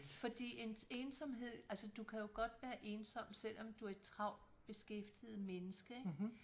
Fordi ensomhed altså du kan jo godt være ensom selvom du er et travlt beskæftiget menneske ik